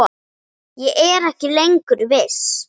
Ég er ekki lengur viss.